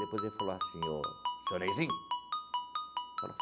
Depois ele falou assim, ô, seu Neyzinho.